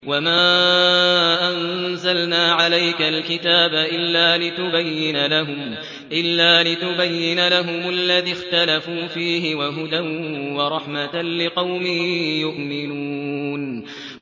وَمَا أَنزَلْنَا عَلَيْكَ الْكِتَابَ إِلَّا لِتُبَيِّنَ لَهُمُ الَّذِي اخْتَلَفُوا فِيهِ ۙ وَهُدًى وَرَحْمَةً لِّقَوْمٍ يُؤْمِنُونَ